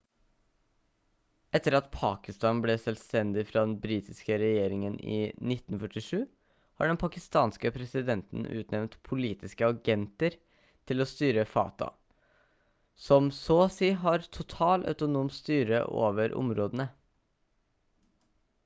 etter at pakistan ble selvstendig fra den britiske regjeringen i 1947 har den pakistanske presidenten utnevnt «politiske agenter» til å styre fata som så og si har total autonom styre over områdene